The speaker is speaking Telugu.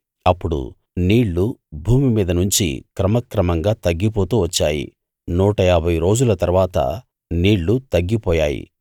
అప్పుడు నీళ్ళు భూమి మీద నుంచి క్రమక్రమంగా తగ్గిపోతూ వచ్చాయి నూట ఏభై రోజుల తరువాత నీళ్ళు తగ్గిపోయాయి